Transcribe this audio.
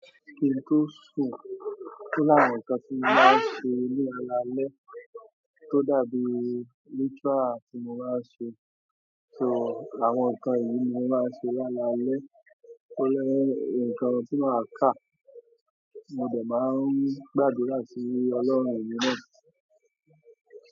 Kí n tó sùn, ó láwọn nǹkan tí mo máa ń ṣe ní alaalẹ́ tó dàbí ritual tí mo máa ń ṣe, so àwọn nǹkan ìní mi mo máa ń ṣe lálaalẹ́ nílé nǹkan tí màá kà mo dẹ̀ máa ń gbàdúrà sí Ọlọ́run mi náà.